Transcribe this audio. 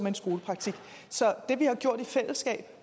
en skolepraktik så det vi har gjort i fællesskab